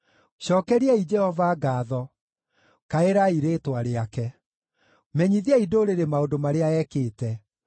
Cookeria Jehova ngaatho, kaĩrai rĩĩtwa rĩake; menyithiai ndũrĩrĩ maũndũ marĩa ekĩte.